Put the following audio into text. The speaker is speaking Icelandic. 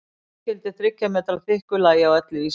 Það jafngildir þriggja metra þykku lagi á öllu Íslandi!